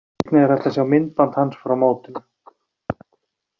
Einnig er hægt að sjá myndband hans frá mótinu.